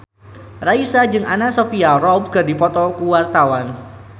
Raisa jeung Anna Sophia Robb keur dipoto ku wartawan